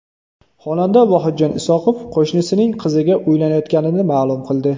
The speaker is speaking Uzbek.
Xonanda Vohidjon Isoqov qo‘shnisining qiziga uylanayotganini ma’lum qildi .